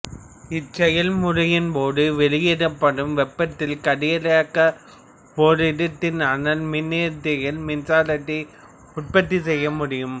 இச்செயல் முறையின் போது வெளிவிடப்படும் வெப்பத்தால் கதிரியக்க ஓரிடத்தான் அனல் மின்னியற்றிகளில் மின்சாரத்தை உற்பத்தி செய்ய முடியும்